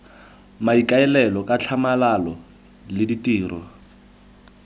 maikaelelo ka tlhamalalo le ditiro